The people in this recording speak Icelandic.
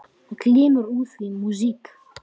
Það glymur úr því músík.